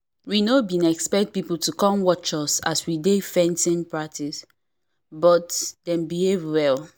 we no been expect people to come watch as we dey fencing practice but dem behave well